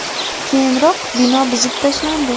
Keyinroq bino buzib tashlandi.